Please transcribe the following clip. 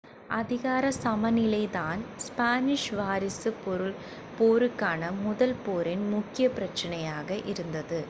அதிகார சமநிலைதான் ஸ்பானிஷ் வாரிசுப் போருக்கான முதல் போரின் முக்கிய பிரச்சனையாக இருந்தது